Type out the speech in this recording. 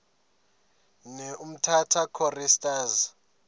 ne umtata choristers